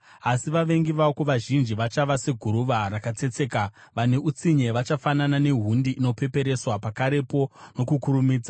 Asi vavengi vako vazhinji vachava seguruva rakatsetseka, vane utsinye vachafanana nehundi inopepereswa. Pakarepo, nokukurumidza